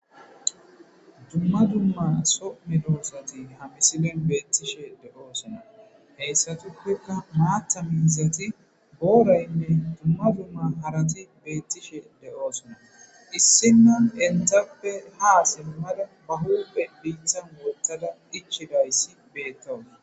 Duma duma so medosati ha misilen betishe de'osona hesatuppeka matha miizayne boray parati betishe de'osona issina entappe ha simada ba huphe bittan wothada ichidaysi betawus